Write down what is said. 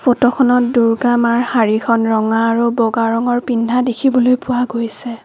ফটোখনত দূৰ্গা মাঁৰ শাড়ীখন ৰঙা আৰু বগা ৰঙৰ পিন্ধা দেখিবলৈ পোৱা গৈছে |